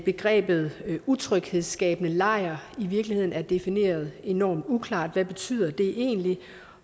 begrebet utryghedsskabende lejr i virkeligheden er defineret enormt uklart hvad betyder det egentlig